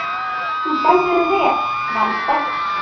Þú stendur þig vel, Valborg!